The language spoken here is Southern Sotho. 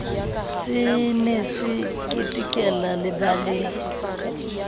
se ne se ketekela lebaleng